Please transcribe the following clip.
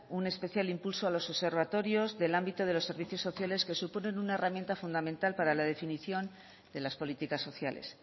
un especial impulso a los observatorios del ámbito de los servicios sociales que suponen una herramienta fundamental para la definición de las políticas sociales